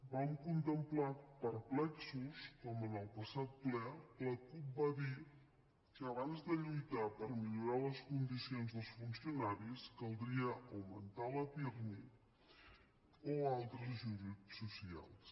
vam contemplar perplexos com en el passat ple la cup va dir que abans de lluitar per millorar les condicions dels funcionaris caldria augmentar la pirmi o altres ajuts socials